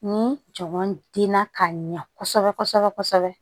Ni jamu denna ka ɲɛ kosɛbɛ kosɛbɛ kosɛbɛ